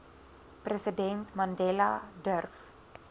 president mandela durf